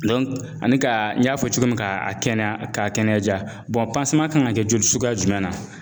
ani ka n y'a fɔ cogo min kaa a kɛnɛya k'a kɛnɛya ja, kan ŋa kɛ joli suguya jumɛn na?